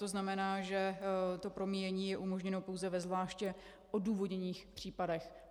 To znamená, že to promíjení je umožněno pouze ve zvláště odůvodněných případech.